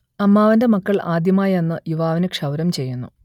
അമ്മാവന്റെ മക്കൾ ആദ്യമായി അന്ന് യുവാവിന് ക്ഷൗരം ചെയ്യുന്നു